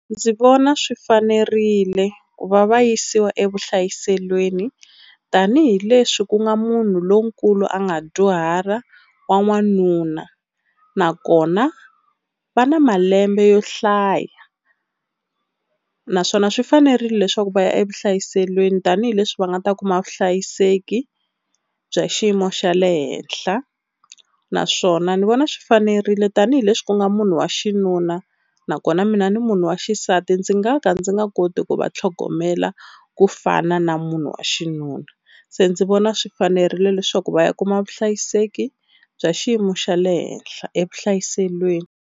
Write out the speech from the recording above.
Ndzi vona swi fanerile ku va va yisiwa evuhlayiselweni tanihileswi ku nga munhu lonkulu a nga dyuhala wa n'wanuna, nakona va na malembe yo hlaya naswona swi fanerile leswaku va ya evuhlayiselweni tanihileswi va nga ta kuma vuhlayiseki bya xiyimo xa le henhla. Naswona ni vona swi fanerile tanihileswi ku nga munhu wa xinuna nakona mina ni munhu wa xisati ndzi nga ka ndzi nga koti ku va tlhogomela ku fana na munhu wa xinuna. Se ndzi vona swi fanerile leswaku va ya kuma vuhlayiseki bya xiyimo xa le henhla evuhlayiselweni.